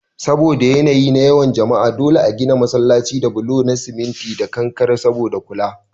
Saboda yanayi na yawan jama'a dole a gina masallatai da bulo na cement da kankare saboda kula